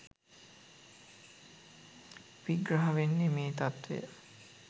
විග්‍රහ වෙන්නේ මේ තත්ත්වය.